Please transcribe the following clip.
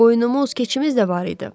Qoyunumuz, keçimiz də var idi.